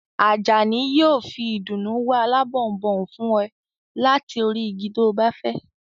Àjàní yóò fi ìdùnnú wá alábọnbon fún ẹ láti orí igi to bá fẹ́